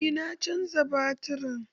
Eh na caja baturin